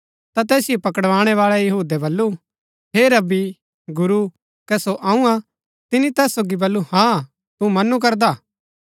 ता तैसिओ पकड़ावाळै यहूदै बल्लू हे रब्बी गुरू कै सो अऊँ हा तिनी तैस सोगी बल्लू हाँ तू मनू करदा